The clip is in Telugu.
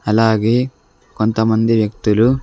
అలాగే కొంతమంది వ్యక్తులు.